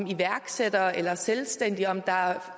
iværksættere eller selvstændige om der er